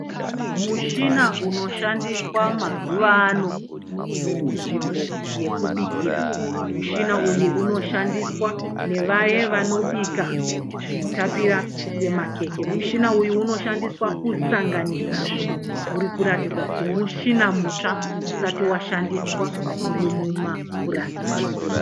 Mushina unoshandiswa mazuva ano kunzvimbo yekubikira. Mushina uyu unoshandiswa nevaye vanobika zvinotapira semakeke. Mushina uyu unoshandiswa kusanganisa zvinhu. Urikuratidza kuti mushina mutsva usati washandiswa urimumapurasitiki.